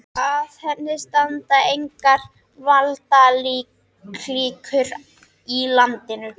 Að henni standa engar valdaklíkur í landinu.